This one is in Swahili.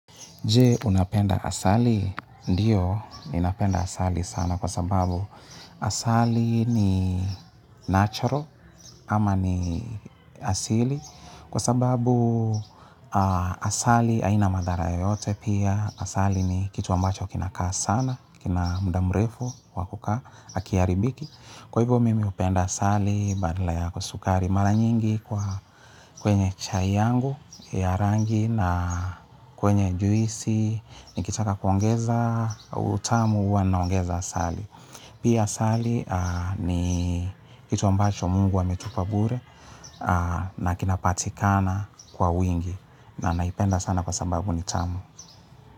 Je, unapenda asali? Ndiyo, ninapenda asali sana kwa sababu asali ni natural ama ni asili. Kwa sababu asali haina madhara yoyote pia, asali ni kitu ambacho kinakaa sana, kina muda mrefu, wakukaa, akiaribiki. Kwa hivo mimi hupenda asali badala ya sukari mara nyingi huwa kwenye chai yangu ya rangi na kwenye juisi nikitaka kuongeza utamu huwa naongeza asali. Pia asali ni kitu ambacho mungu ametupa bure na kinapatikana kwa wingi na naipenda sana kwa sababu ni tamu.